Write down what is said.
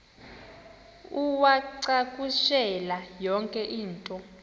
uwacakushele yonke into